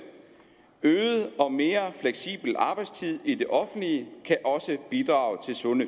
øget og mere fleksibel arbejdstid i det offentlige kan også bidrage til sunde